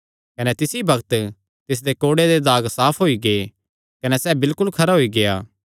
कने तिसी बग्त तिसदे कोढ़े दे नसाण साफ होई गै कने सैह़ बिलकुल खरा होई गेआ